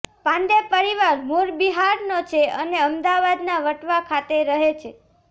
પાંડે પરિવાર મુળ બિહારનો છે અને અમદાવાદના વટવા ખાતે રહે છે